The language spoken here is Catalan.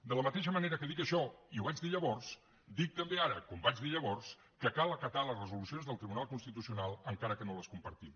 de la mateixa manera que dic això i ho vaig dir llavors dic també ara com vaig dir llavors que cal acatar les resolucions del tribunal constitucional encara que no les compartim